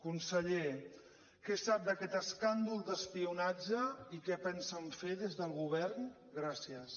conseller què sap d’aquest escàndol d’espionatge i què pensen fer des del govern gràcies